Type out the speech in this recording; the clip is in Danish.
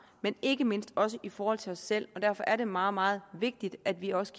men ikke mindst også i forhold til os selv og derfor er det meget meget vigtigt at vi også